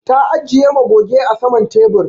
Ta ajiƴe magoge a saman teɓur.